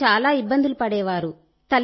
పిల్లలు చాలా ఇబ్బందులు పడేవారు